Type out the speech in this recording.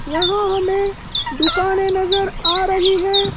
यहां हमें दुकानें नजर आ रही है।